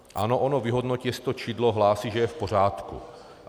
Ano, ono vyhodnotí, jestli to čidlo hlásí, že je v pořádku.